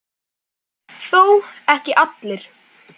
Þó ekki allir.